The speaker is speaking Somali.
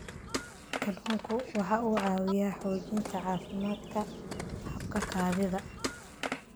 Kalluunku waxa uu caawiyaa xoojinta caafimaadka habka kaadida.